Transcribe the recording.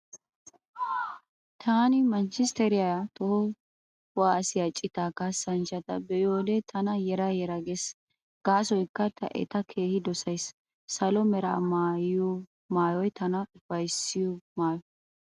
Taani manchchisteriyaa toho kuwaasiyaa citaa kaassanchchata be'iyo wode tana yera yera gees gaasoykka ta eta keehi dosays. Salo mera maayoy tana ufayssiya maayo.